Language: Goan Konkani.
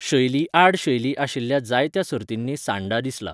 शैली आड शैली आशिल्ल्या जायत्या सर्तींनी सांडा दिसला.